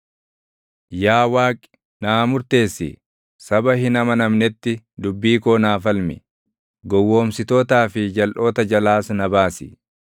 Yaa Waaqi, naa murteessi; saba hin amanametti dubbii koo naa falmi; gowwoomsitootaa fi jalʼoota jalaas na baasi.